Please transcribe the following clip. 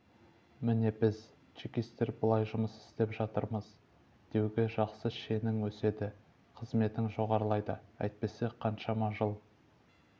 міне біз чекистер былай жұмыс істеп жатырмыз деуге жақсы шенің өседі қызметің жоғарылайды әйтпесе қаншама жыл